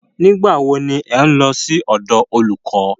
Nígbà wo ni ẹ̀ ń lọ sí ọ̀dọ̀ olùkọ́?